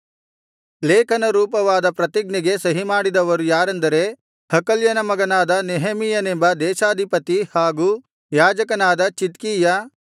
ಲೇಖನ ರೂಪವಾದ ಪ್ರತಿಜ್ಞೆಗೆ ಸಹಿಮಾಡಿದವರು ಯಾರಾರೆಂದರೆ ಹಕಲ್ಯನ ಮಗನಾದ ನೆಹೆಮೀಯನೆಂಬ ದೇಶಾಧಿಪತಿ ಹಾಗೂ ಯಾಜಕನಾದ ಚಿದ್ಕೀಯ